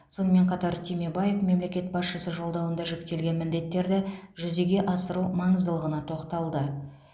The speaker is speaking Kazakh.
сонымен қатар түймебаев мемлекет басшысы жолдауында жүктелген міндеттерді жүзеге асыру маңыздылығына тоқталды